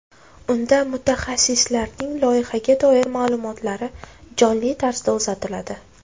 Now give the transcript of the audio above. Unda mutaxassislarning loyihaga doir ma’lumotlari jonli tarzda uzatiladi.